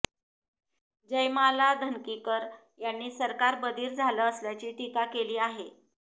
जयमाला धनकिकर यांनी सरकार बधीर झालं असल्याची टीका केली आहे